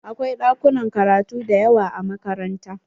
Akwai ɗakunan karatu dayawa a makaranta.